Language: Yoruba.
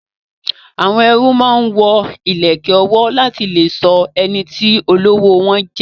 Àwọn ẹrú máa ń wo ìlẹ̀kẹ̀ ọwọ́ láti lè sọ ẹniti olówó wọn jẹ